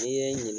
N'i ye n ɲininka